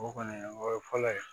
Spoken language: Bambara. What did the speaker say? O kɔni o ye fɔlɔ ye